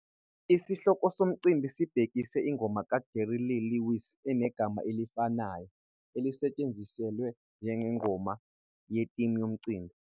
Isihloko somcimbi sibhekise ingoma kaJerry Lee Lewis enegama elifanayo, esetshenziswe njengengoma yetimu yomcimbi.